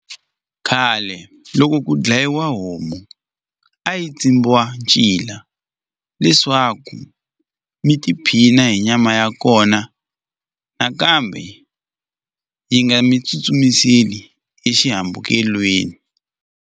Khale loko ku dlayiwa homu a yi tsimbiwa ncila leswaku mi tiphina hi nyama ya kona nakambe yi nga mi tsutsumiseli exihambukelweni.